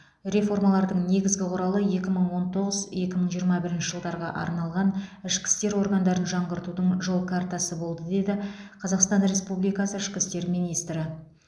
реформалардың негізгі құралы екі мың он тоғыз екі мың жиырма бірінші жылдарға арналған ішкі істер органдарын жаңғыртудың жол картасы болды деді қазақстан республикасы ішкі істер министрі